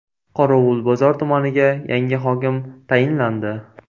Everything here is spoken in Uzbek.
Qorovulbozor tumaniga yangi hokim tayinlandi.